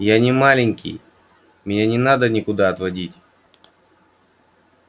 я не маленький меня не надо никуда отводить